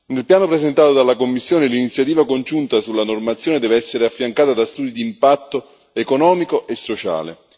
Nel piano presentato dalla Commissione, l'iniziativa congiunta sulla normazione deve essere affiancata da studi di impatto economico e sociale.